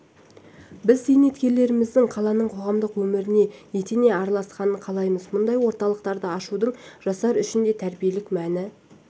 біз зейнеткерлеріміздің қаланың қоғамдық өміріне етене араласқанын қалаймыз мұндай орталықтарды ашудың жастар үшін де тәрбиелік мәні